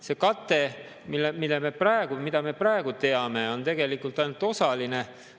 See kate, mida me praegu teame, on tegelikult ainult osaline.